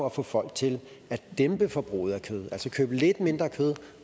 at få folk til at dæmpe forbruget af kød altså købe lidt mindre kød